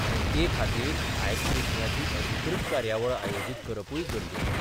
आनी ते खातीर आयस ब्रेकिंगाची अधिकृत कार्यावळ आयोजीत करपूय गरजेचें.